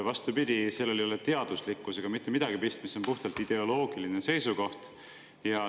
Vastupidi, sellel ei ole teaduslikkusega mitte midagi pistmist, see on puhtalt ideoloogiline seisukoht.